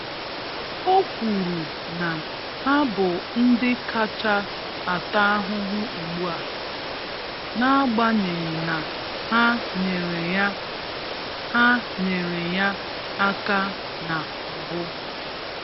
O kwuru na ha bụ ndị kacha ata ahụhụ ugbu a, n’agbanyeghị na ha nyere ya ha nyere ya aka na mbụ.